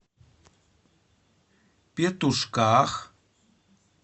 петушках